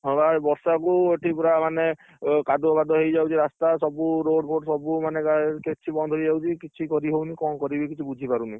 ହଁ, ବା ଏ ବର୍ଷା କୁ ଏଠି ପୁରା ମାନେ କାଦୁଅ ମାଦୁଅ ହେଇଯାଉଛି ରାସ୍ତା ସବୁ road ଫୋଡ୍ ସବୁ ମାନେ କିଛି ବନ୍ଦ ହେଇଯାଉଛି କିଛି କରି ହଉନି କଣ କରିବି କିଛି ବୁଝି ପାରୁନି।